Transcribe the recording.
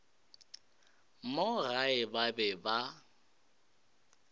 mo gae ba be ba